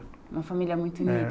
Uma família muito unida.